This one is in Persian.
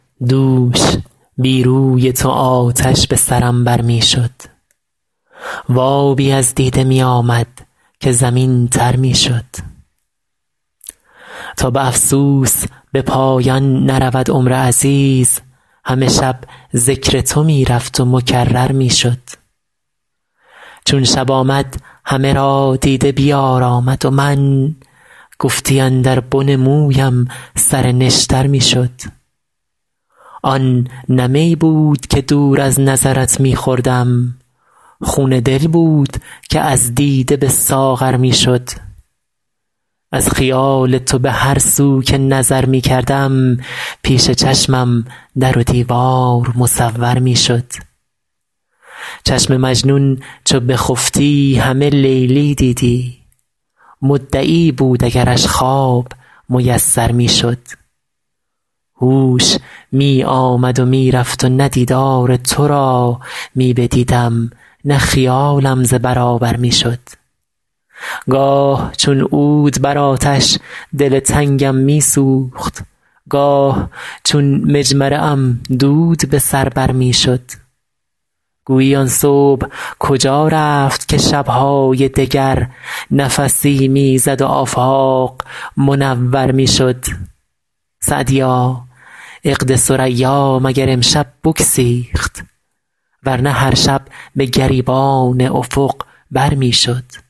دوش بی روی تو آتش به سرم بر می شد و آبی از دیده می آمد که زمین تر می شد تا به افسوس به پایان نرود عمر عزیز همه شب ذکر تو می رفت و مکرر می شد چون شب آمد همه را دیده بیارامد و من گفتی اندر بن مویم سر نشتر می شد آن نه می بود که دور از نظرت می خوردم خون دل بود که از دیده به ساغر می شد از خیال تو به هر سو که نظر می کردم پیش چشمم در و دیوار مصور می شد چشم مجنون چو بخفتی همه لیلی دیدی مدعی بود اگرش خواب میسر می شد هوش می آمد و می رفت و نه دیدار تو را می بدیدم نه خیالم ز برابر می شد گاه چون عود بر آتش دل تنگم می سوخت گاه چون مجمره ام دود به سر بر می شد گویی آن صبح کجا رفت که شب های دگر نفسی می زد و آفاق منور می شد سعدیا عقد ثریا مگر امشب بگسیخت ور نه هر شب به گریبان افق بر می شد